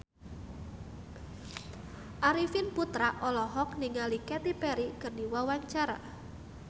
Arifin Putra olohok ningali Katy Perry keur diwawancara